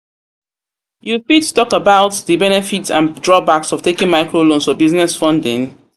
You fit talk about di benefit and drawbacks of taking microloans for business funding?